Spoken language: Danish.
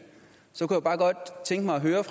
så